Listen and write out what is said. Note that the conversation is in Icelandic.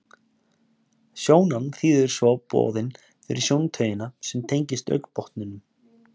Sjónan þýðir svo boðin fyrir sjóntaugina sem tengist augnbotninum.